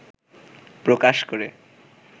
প্রকাশ করে